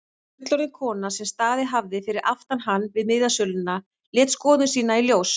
Fullorðin kona sem staðið hafði fyrir aftan hann við miðasöluna lét skoðun sína í ljós.